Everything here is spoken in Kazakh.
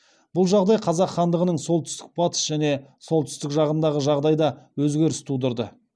бұл жағдай қазақ хандығының солтүстік батыс және солтүстік жағындағы жағдайда өзгеріс тудырды